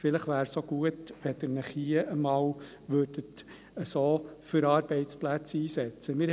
Vielleicht wäre es auch gut, wenn Sie sich hier einmal so gut für Arbeitsplätze einsetzen würden.